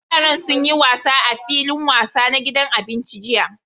Yaran sun yi wasa a filin wasa na gidan abinci jiya.